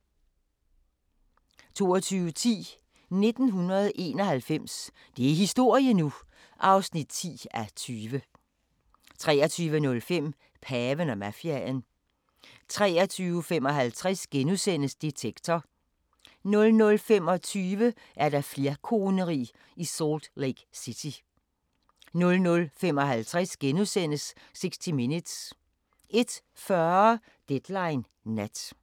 22:10: 1991 – det er historie nu! (10:20) 23:05: Paven og mafiaen 23:55: Detektor * 00:25: Flerkoneri i Salt Lake City 00:55: 60 Minutes * 01:40: Deadline Nat